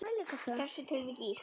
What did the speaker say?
Í þessu tilviki ísskáp.